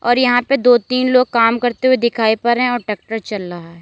और यहां पे दो तीन लोग काम करते हुए दिखाई पड़ रहे है और टक्टर चल रहा है।